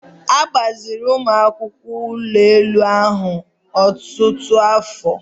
A gbaziri ụmụ akwụkwọ ụlọ elu ahụ ọtụtụ afọ.